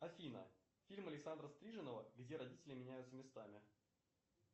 афина фильм александра стриженова где родители меняются местами